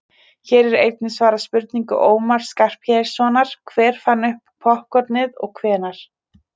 hér er einnig svarað spurningu ómars skarphéðinssonar „hver fann upp poppkornið og hvenær“